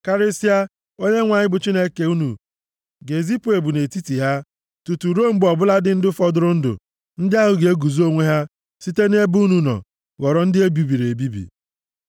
Karịsịa, Onyenwe anyị bụ Chineke unu ga-ezipụ ebu nʼetiti ha tutu ruo mgbe ọ bụladị ndị fọdụrụ ndụ, ndị ahụ ga-ezo onwe ha site nʼebe unu nọ, ghọrọ ndị e bibiri.